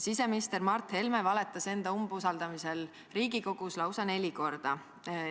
Siseminister Mart Helme valetas enda umbusaldamisel Riigikogus lausa neli korda.